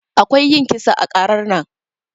Akwai yin kisa ã karar nan.